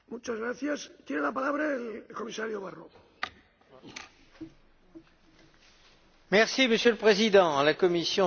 Monsieur le Président, la Commission se réjouit des efforts considérables qui ont été déployés par le Parlement, et aussi un peu par le Conseil.